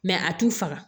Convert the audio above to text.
a t'u faga